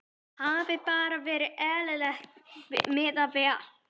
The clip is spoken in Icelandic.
Hafi bara verið eðlileg miðað við allt.